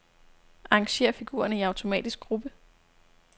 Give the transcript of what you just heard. Arrangér figurerne i automatisk gruppe.